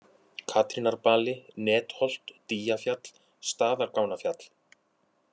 Katrínarbali, Netholt, Dýjafjall, Staðargangnafjall